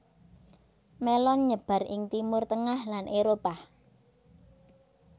Mélon nyebar ing Timur tengah lan Éropah